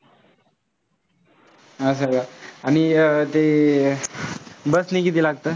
असं काआणि ते bus नी किती लागतं?